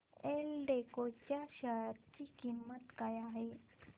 एल्डेको च्या शेअर ची किंमत काय आहे